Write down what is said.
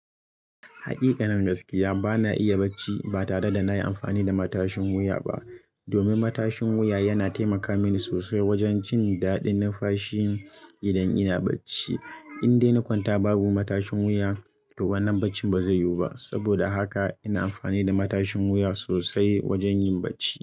Haƙiƙa, nan gaskiya bana iya bacci ba tare da na yi amfani da matashin wuya ba. Domin matashin wuya yana taimaka mini sosai wajen jin daɗin numfashi idan ina bacci. In dai na kwanta babu matashin wuya, to wannan bacci ba zai yiwu ba. Saboda haka ina amfani da matashin wuya sosai wajen yin bacci.